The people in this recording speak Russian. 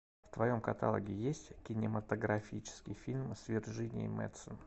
в твоем каталоге есть кинематографический фильм с вирджинией мэдсен